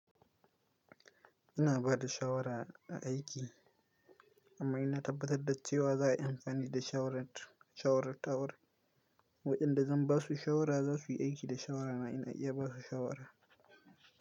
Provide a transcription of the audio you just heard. Ina ba da shawara a aiki amma ina tabbatar da cewa za a yi amfani da shawarar. Waɗanda zan ba su shawara za su yi aiki da shawara na in na iya ba su shawara.